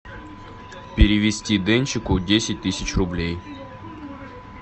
перевести денчику десять тысяч рублей